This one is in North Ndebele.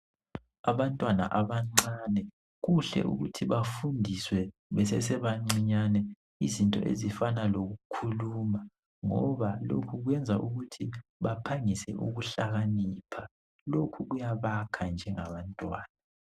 Abantwana abancane kuhle ukuthi bafundiswe besasebancinyane izinto ezifana lokukhuluma ngoba lokhu kwenza ukuthi baphangise ukuhlakanipha lokhu kuyabakha njengabantwana.